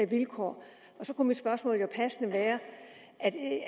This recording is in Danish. vilkår og så kunne mit spørgsmål jo passende være